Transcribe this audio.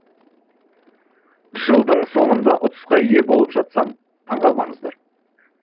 жылдың соңында ұтысқа ие болып жатсам таң қалмаңыздар